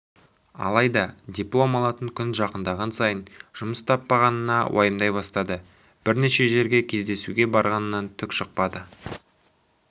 алайда диплом алатын күн жақындаған сайын жұмыс таппағанын уайымдай бастады бірнеше жерге кездесуге барғанынан түк шықпады